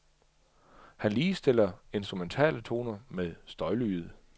Han ligestiller instrumentale toner med støjlyde.